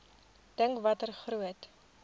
dink watter groot